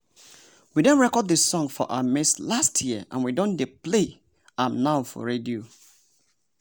we don record the song for our maize last year and we don dey play am now for radio.